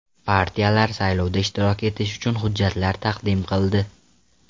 Partiyalar saylovda ishtirok etish uchun hujjatlar taqdim qildi.